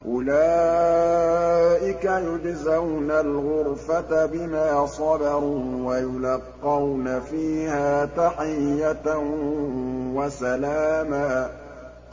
أُولَٰئِكَ يُجْزَوْنَ الْغُرْفَةَ بِمَا صَبَرُوا وَيُلَقَّوْنَ فِيهَا تَحِيَّةً وَسَلَامًا